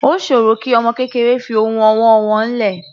Ó sòro kí ọmọ kékeré fi ohun ọwọ́ wọ́n lẹ̀.